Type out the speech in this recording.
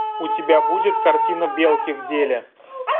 у тебя будет картина белки в деле